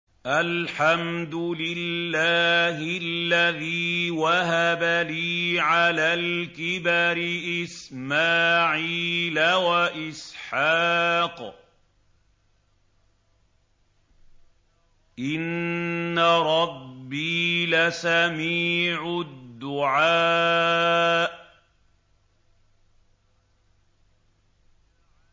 الْحَمْدُ لِلَّهِ الَّذِي وَهَبَ لِي عَلَى الْكِبَرِ إِسْمَاعِيلَ وَإِسْحَاقَ ۚ إِنَّ رَبِّي لَسَمِيعُ الدُّعَاءِ